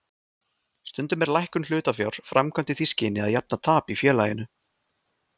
Stundum er lækkun hlutafjár framkvæmd í því skyni að jafna tap í félaginu.